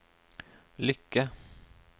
lykke